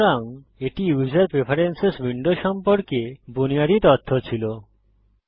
সুতরাং এটি user preferences window সম্পর্কে বুনিয়াদী তথ্য ছিল